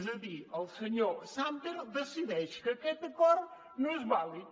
és a dir el senyor sàmper decideix que aquest acord no és vàlid